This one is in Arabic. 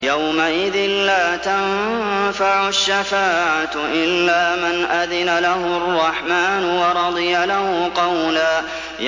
يَوْمَئِذٍ لَّا تَنفَعُ الشَّفَاعَةُ إِلَّا مَنْ أَذِنَ لَهُ الرَّحْمَٰنُ وَرَضِيَ لَهُ قَوْلًا